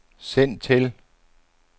send til